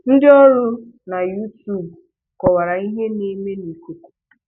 Ndị ọrụ na Youtube kọwara ihe na-eme na ikuku.